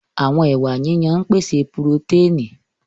Àwọn ẹwà yíyan ń pèsè purotẹ́ẹ̀nì